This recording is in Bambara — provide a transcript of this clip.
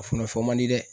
A funafan man di dɛ